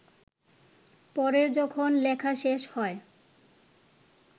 পরে যখন লেখা শেষ হয়